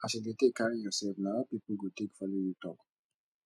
as you dey take carry yourself na how pipo go take follow you talk